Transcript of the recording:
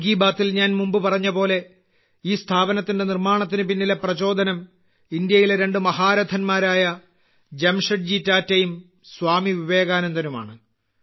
മൻ കി ബാത്തിൽ ഞാൻ മുമ്പ് പറഞ്ഞത് പോലെ ഈ സ്ഥാപനത്തിന്റെ നിർമാണത്തിന് പിന്നിലെ പ്രചോദനം ഇന്ത്യയിലെ രണ്ട് മഹാരഥൻമാരായ ജംഷേഡ്ജി ടാറ്റയും സ്വാമി വിവേകാനന്ദനും ആണ്